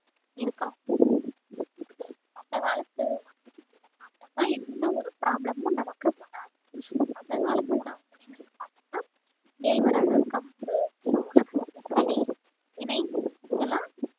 இருக்கலாம் அந்த காலத்து சாப்பிட்டோம்ன்னா எந்த ஒரு problem உம் நமக்கு வராது அந்த காலத்து உணவுப்பொருள்கள்ன்னு பார்த்தோம்னா கேழ்வரகு, கம்பு, சோளம், திணை இதெல்லாம்